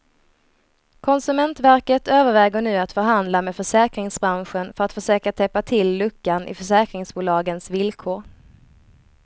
Konsumentverket överväger nu att förhandla med försäkringsbranschen för att försöka täppa till luckan i försäkringsbolagens villkor.